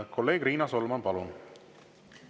Kolleeg Riina Solman, palun!